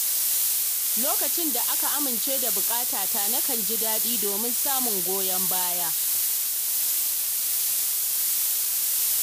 Lokacin da aka amince da buƙatata, nakan ji daɗin domin samun goyon baya.